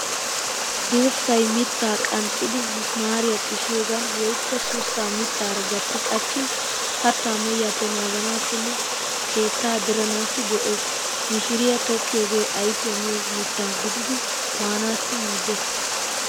Dirssay mitta qanxxidi misimaariya xishiyogan woykko sussa mittaara gatti qachin kattaa mehiyappe naaganaassinne keetta diranaassi go'ees. Mishiriyaa tokkiyoge ayfiya miyo mitta gidiiddi maanaassi maaddeees.